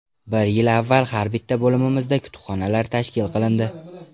Bir yil avval har bitta bo‘limimizda kutubxonalar tashkil qilindi.